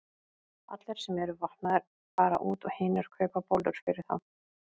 Allir sem eru vopnaðir fara út og hinir kaupa bollur fyrir þá.